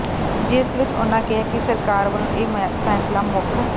ਜਿਸ ਵਿੱਚ ਉਨ੍ਹਾਂ ਕਿਹਾ ਕਿ ਸਰਕਾਰ ਵੱਲੋਂ ਇਹ ਫੈਸਲਾ ਮੁੱਖ